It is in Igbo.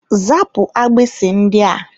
Zapụ agbisi ndị a!